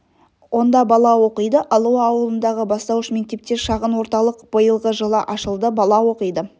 онда бала оқиды алуа ауылындағы бастауыш мектепте шағын орталық биылғы жылы ашылды бала оқиды